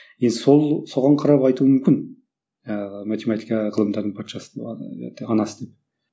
енді сол соған қарап айтуы мүмкін ыыы математика ғылымдардың патшасы ыыы анасы деп